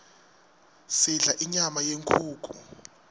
sidla inyama yenkhukhu